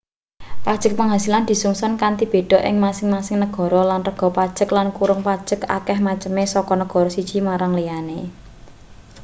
pajeg pangasilan disungsun kanthi beda ing masing-masing negara lan rega pajeg lan kurung pajeg akeh maceme saka negara siji marang liyane